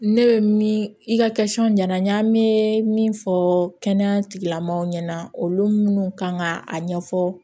Ne bɛ min i ka ɲɛna n ɲa n me min fɔ kɛnɛya tigilamɔgɔw ɲɛna olu munnu kan ka a ɲɛfɔ